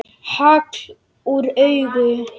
Hagl úr auga.